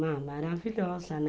Maravilhosa, né?